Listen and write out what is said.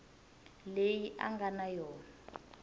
leyi a nga na yona